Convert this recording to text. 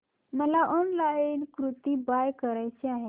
मला online kurti buy करायची आहे